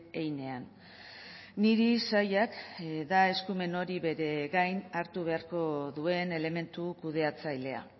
heinean niri sailak da eskumen hori bere gain hartu beharko duen elementu kudeatzailea